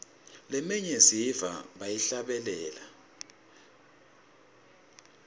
leminye siyiva bayihlabelela